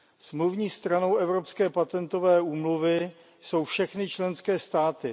Smluvní stranou Evropské patentové úmluvy jsou všechny členské státy.